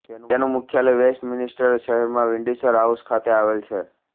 તેનું મુખ્યાલય વેસ્ટમિનિસ્ટર શહેરમાં વિન્ડસર હાઉસ ખાતે આવેલ છે